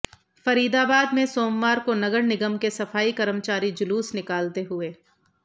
फरीदाबाद में सोमवार को नगर निगम के सफाई कर्मचारी जुलूस निकालते हुए